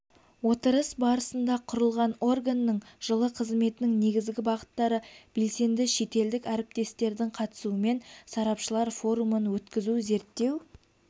отырыс барысында құрылған органның жылы қызметінің негізгі бағыттары белгіленді шетелдік әріптестердің қатысуымен сарапшылар форумын өткізу зерттеу